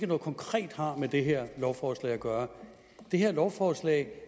noget konkret med det her lovforslag at gøre det her lovforslag